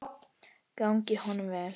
Gangi honum vel.